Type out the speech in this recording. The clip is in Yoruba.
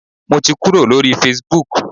Mo ti kúrò lórí Facebook.